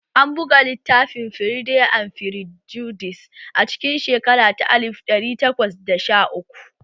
An buga littafin 'Firide and Firjudis' a cikin shekara ta alif ɗari takwas da sha uku